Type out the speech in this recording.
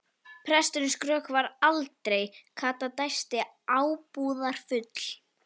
Presturinn skrökvar aldrei, Kata dæsti ábúðar- full.